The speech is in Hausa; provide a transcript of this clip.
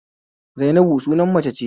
Zainabu sunan mata ne